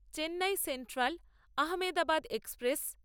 Chennai central Ahmedabad express